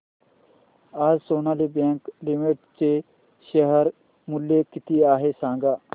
आज Sonali Bank Limited चे share मूल्य किती आहे सांगा